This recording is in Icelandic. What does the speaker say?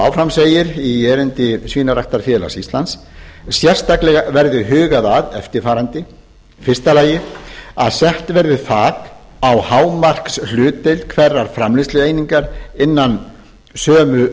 áfram segir í erindi svínaræktarfélags íslands sérstaklega verði hugað að eftirfarandi fyrsta að sett verði þak á hámarkshlutdeild hverrar framleiðslueiningar innan sömu